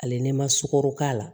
Ale n'i ma sukaro k'a la